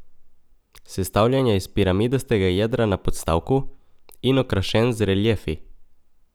Sestavljen je iz piramidastega jedra na podstavku in okrašen z reliefi.